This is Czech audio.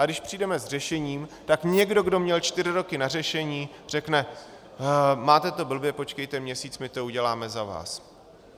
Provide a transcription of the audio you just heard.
Ale když přijdeme s řešením, tak někdo, kdo měl čtyři roky na řešení, řekne: máte to blbě, počkejte měsíc, my to uděláme za vás...